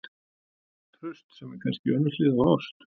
TRAUST- sem er kannski önnur hlið á ást.